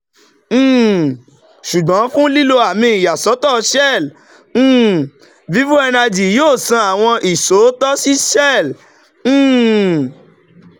um ṣugbọn fun lilo ami iyasọtọ shell um vivo energy yoo san awọn iṣootọ si shell um